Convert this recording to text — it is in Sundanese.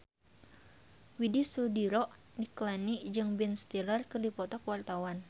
Widy Soediro Nichlany jeung Ben Stiller keur dipoto ku wartawan